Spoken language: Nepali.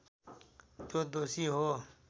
त्यो दोषी हो